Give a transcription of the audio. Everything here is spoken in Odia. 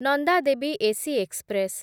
Nanda Devi AC express